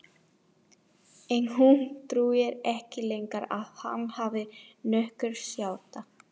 En hún trúir ekki lengur að hann hafi nokkurt hjarta.